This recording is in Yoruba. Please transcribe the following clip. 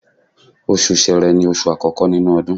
Oṣù Sẹrẹ ni oṣù àkọ́kọ́ nínú ọdún